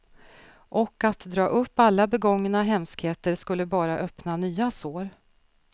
Och att dra upp alla begångna hemskheter skulle bara öppna nya sår.